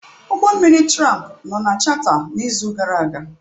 Ụgbọ mmiri tramp nọ na chata n'izu gara aga.